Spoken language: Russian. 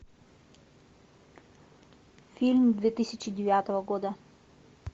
фильм две тысячи девятого года